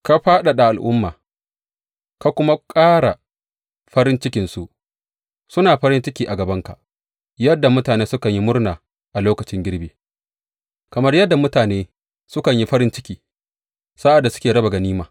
Ka fadada al’umma ka kuma ƙara farin cikinsu; suna farin ciki a gabanka yadda mutane sukan yi murna a lokacin girbi, kamar yadda mutane sukan yi farin ciki sa’ad da suke raba ganima.